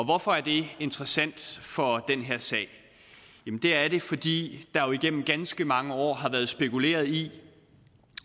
hvorfor er det interessant for den her sag det er det fordi der jo igennem ganske mange år har været spekuleret i